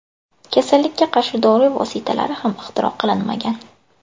Kasallikka qarshi dori vositasi ham ixtiro qilinmagan.